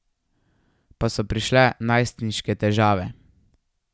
Pa so prišle najstniške težave.